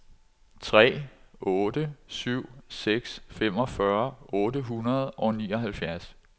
tre otte syv seks femogfyrre otte hundrede og nioghalvfjerds